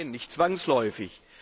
Nein, nicht zwangsläufig.